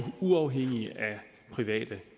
uafhængige af private